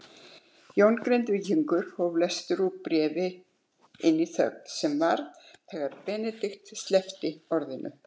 Jón Grindvíkingur hóf lestur úr bréfinu inn í þögn sem varð þegar Benedikt sleppti orðinu